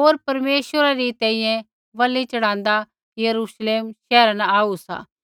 होर परमेश्वरा री तैंईंयैं बलि च़ढ़ाँदा यरूश्लेम शैहरा न आऊ सा